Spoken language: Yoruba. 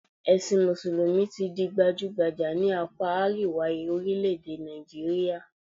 Ẹ̀sìn mùsùlùmí ti di gbajúgbajà ní àpá àríwá orílẹ̀-èdè Nàìjíríà